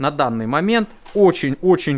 на данный момент очень очень